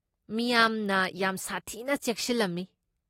ꯃꯤꯌꯥꯝꯅ ꯌꯥꯝ ꯁꯥꯊꯤꯅ ꯆꯦꯛꯁꯤꯜꯂꯝꯃꯤ ꯫